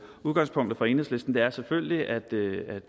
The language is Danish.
udgangspunktet for enhedslisten er selvfølgelig at